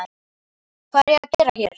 Hvað er ég að gera hér?